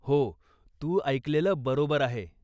हो, तू ऐकलेलं बरोबर आहे.